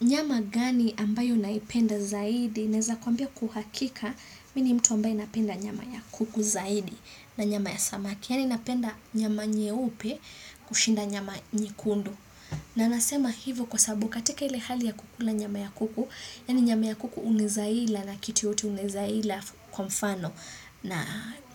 Nyama gani ambayo unaipenda zaidi, naeza kwambia kwa uhakika, mi ni mtu ambaye napenda nyama ya kuku zaidi na nyama ya samaki. Yani inapenda nyama nyeupe kushinda nyama nyekundu. Na nasema hivo kwa sababu katika ile hali ya kukula nyama ya kuku, yani nyama ya kuku unaeza ila na kitu yote unaeza ila kwa mfano na